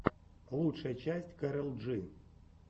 лучшая часть кэрол джи